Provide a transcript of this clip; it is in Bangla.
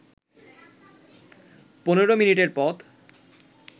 ১৫ মিনিটের পথ